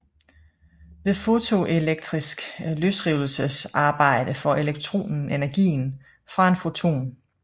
Ved fotoelektrisk løsrivelsesarbejde får elektronen energien fra en foton